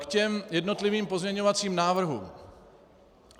K těm jednotlivým pozměňovacím návrhům.